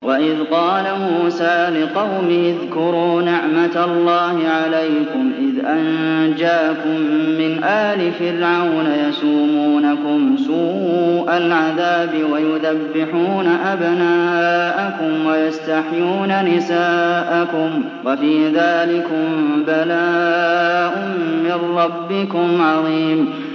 وَإِذْ قَالَ مُوسَىٰ لِقَوْمِهِ اذْكُرُوا نِعْمَةَ اللَّهِ عَلَيْكُمْ إِذْ أَنجَاكُم مِّنْ آلِ فِرْعَوْنَ يَسُومُونَكُمْ سُوءَ الْعَذَابِ وَيُذَبِّحُونَ أَبْنَاءَكُمْ وَيَسْتَحْيُونَ نِسَاءَكُمْ ۚ وَفِي ذَٰلِكُم بَلَاءٌ مِّن رَّبِّكُمْ عَظِيمٌ